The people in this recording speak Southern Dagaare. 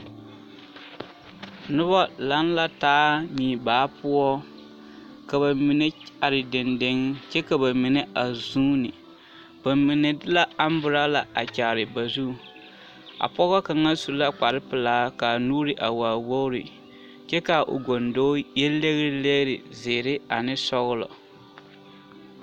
Nobɔ laŋ la taa muibaa poɔ ka ba mine are dendeŋ kyɛ ka ba mine a zooni ba mine de la amburɔla a kyaare ba zuŋ a pɔgɔ kaŋ su la kparrepelaa ka a nuuri a waa wogre kyɛ kaa o goŋdoe yɛ legri legri zeere ane sɔglɔ.